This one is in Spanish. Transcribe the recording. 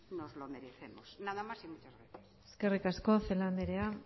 nos lo merecemos nada más y muchas gracias eskerrik asko celaá andrea